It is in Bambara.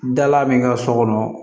Dala min ka so kɔnɔ